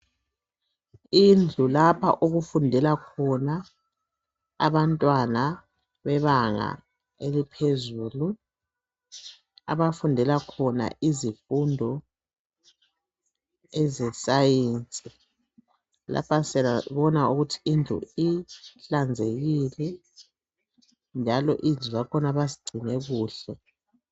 Indlu lapha okufundela khona abantwana bebanga eliphezulu, abafundela khona izifundo ezesayensi, lapha siyabona ukuthi indlu ihlanzekile njalo izindlu zakhona bazigcine kuhle.